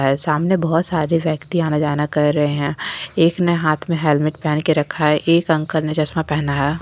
सामने बहुत सारे व्यक्ति आना जाना कर रहे हैं एक ने हाथ में हेलमेट पहन के रखा है एक अंकल ने चश्मा पहना है।